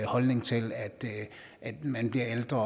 holdning til at man bliver ældre